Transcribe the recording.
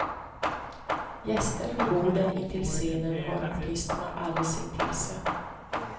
Gäster vid borden intill scenen har artisterna alldeles intill sig.